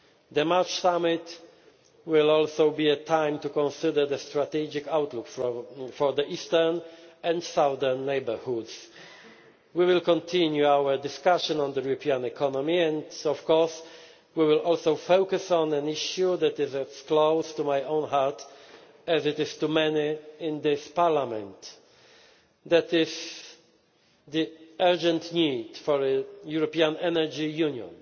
The March summit will also be a time to consider the strategic outlook for the eastern and southern neighbourhoods. We will continue our discussion on the European economy and, of course, we will also focus on an issue that is as close to my own heart as it is to many in this Parliament, that is, the urgent need for a European Energy